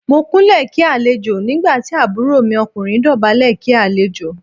Mo Kúnlẹ̀ kí àlejò nígbà tí àbúrò mi ọkùnrin dọ̀bálẹ̀ kí àlejò.